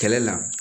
Kɛlɛ la